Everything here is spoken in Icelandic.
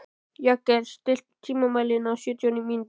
Jagger, stilltu tímamælinn á sjötíu mínútur.